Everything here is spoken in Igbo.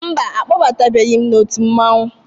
Mba, a kpọbatabeghi m n'òtù mmọnwụ.